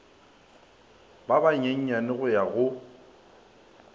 ba banyenyane go ya go